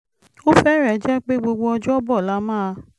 ó fẹ́rẹ̀ẹ́ jẹ́ pé gbogbo ọjọ́bọ̀ la máa